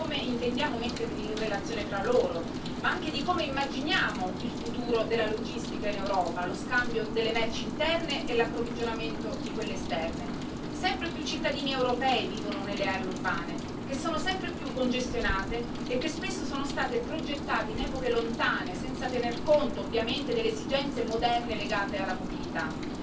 Bei allen Regelungen sollten wir einen technologieneutralen Ansatz verfolgen, der den gesamten Fußabdruck der Fahrzeuge umfasst. Jeder Verkehrsträger muss an seiner Effizienz arbeiten, denn es gibt keine Technologie, die alle Probleme lösen kann. Und die künftige